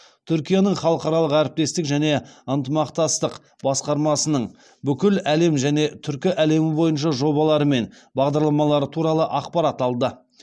түркияның халықаралық әрекеттестік және ынтымақтастық басқармасының бүкіл әлем және түркі әлемі бойынша жобалары мен бағдарламары туралы ақпарат алды